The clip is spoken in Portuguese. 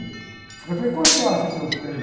Eu falei, quanto você acha que eu ganhei?